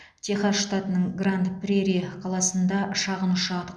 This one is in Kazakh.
техас штатының гранд прери қаласында шағын ұшақ